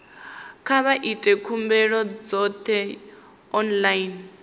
kha vha ite khumbelo dzoṱhe online